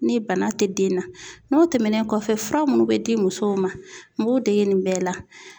Ni bana tɛ den na n'o tɛmɛnen kɔfɛ fura munnu be di musow ma n b'u dege nin bɛɛ la.